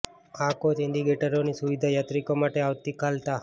આ કોચ ઈન્ડીકેટરોની સુવિધા યાત્રિકો માટે આવતીકાલ તા